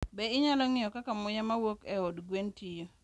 Be inyalo ng'iyo kaka muya mawuok e od gwen tiyo?